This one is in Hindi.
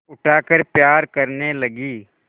उठाकर प्यार करने लगी